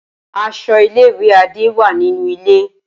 Aso ile-iwe Ade wa ninu ile.